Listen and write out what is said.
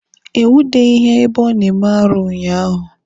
E nwudeghi ya ebe ọ na-eme arụ unyaahụ.